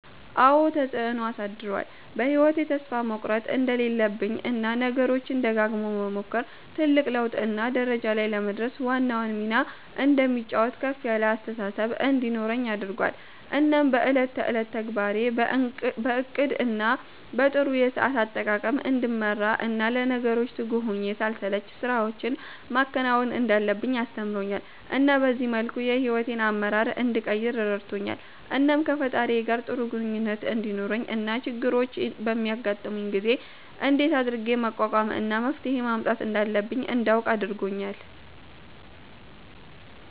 አዎ ተፀአኖ አሳድሮአል በ ህይዎቴ ተስፋ መቁረት እንደሌለብኝ እና ነገሮችን ደጋግሞ መሞከር ትልቅ ለውጥ እና ደረጃ ላይ ለመድረስ ዋናውን ሚና እንደሚጫወት ከፍ ያለ አስተሳሰብ እንዲኖረኝ አድርጎአል እናም በ እለት ተእለት ተግባሬን በ እቅድ እና በ ጥሩ የሰአት አጠቃቀም እንድመራ እና ለነገሮች ትጉህ ሁኘ ሳልሰለች ስራወችን ማከናወን እንዳለብኝ አስተምሮኛል እና በዚህ መልኩ የ ሂዎቴን አመራር እንድቀይር ረድቶኛል። እናም ከ ፈጣሪየ ጋር ጥሩ ግኝኙነት እንዲኖረኝ እና ችግሮች በሚያጋጥሙኝ ጊዜ እንደት አድርጌ መቋቋም እና መፍትሄ ማምጣት እንዳለብኝ እንዳውቅ አርጎኛል